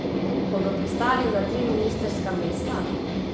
Bodo pristali na tri ministrska mesta?